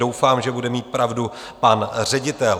Doufám, že bude mít pravdu pan ředitel.